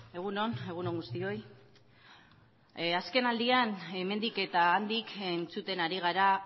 egun on egun on guztioi azken aldian hemendik eta handik entzuten ari gara